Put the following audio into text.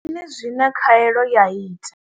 Ndi mini zwine khaelo ya ita.